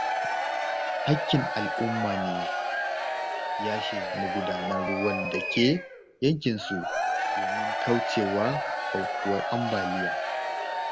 Haƙƙin al'umma ne yashe magudanan ruwan da ke yankinsu domin kauce wa aukuwar ambaliya.